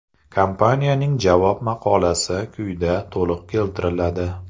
Kompaniyaning javob maqolasi quyida to‘liq keltiriladi.